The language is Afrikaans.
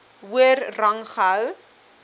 hoër rang gehou